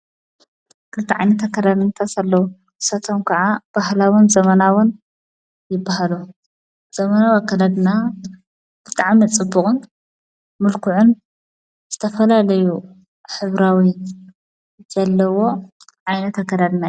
ክርታዕ ይኒተ ከደንእንተስለዉ ክሰቶም ከዓ ባህላቦን ዘመናቦን ይበሃሉ ዘመናዊ ኣከለድና ክርጥዕሚ ጽቡቕን ምልክዑን ስተፈላለዩ ኅብራዊይ ዘለዎ ዓይነተ አከዳድና እዩ።